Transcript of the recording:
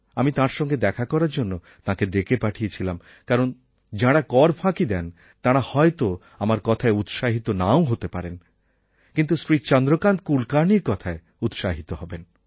আমি তাঁর সঙ্গে দেখা করার জন্য তাঁকে ডেকে পাঠিয়েছিলাম কারণ যাঁরা কর ফাঁকি দেন তাঁরা হয়ত আমার কথায় উৎসাহিত নাও হতে পারেন কিন্তু শ্রী চন্দ্রকান্ত কুলকার্ণির কথায় উৎসাহিত হবেন